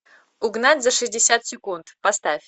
угнать за шестьдесят секунд поставь